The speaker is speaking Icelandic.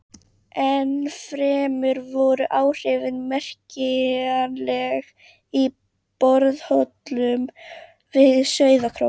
Ennfremur voru áhrifin merkjanleg í borholum við Sauðárkrók.